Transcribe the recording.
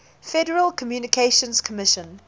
federal communications commission